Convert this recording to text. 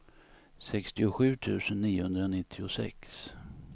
sextiosju tusen niohundranittiosex